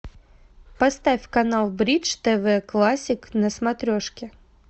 поставь канал бридж тв классик на смотрешке